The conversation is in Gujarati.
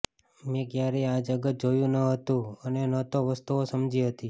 મેં ક્યારેય આ જગત જોયું ન હતું અને ન તો વસ્તુઓ સમજી હતી